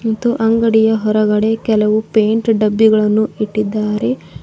ಮತ್ತು ಅಂಗಡಿಯ ಹೊರಗಡೆ ಕೆಲವು ಪೇಯಿಂಟ್ ಡಬ್ಬಿಗಳನ್ನು ಇಟ್ಟಿದ್ದಾರೆ.